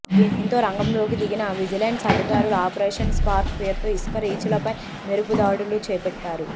దీంతో రంగంలోకి దిగిన విజిలెన్స్ అధికారులు ఆపరేషన్ స్పార్క్ పేరుతో ఇసుక రీచ్ లపై మెరుపు దాడులు చేపట్టారు